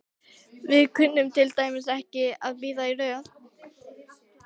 Við kunnum til dæmis ekki að bíða í röð.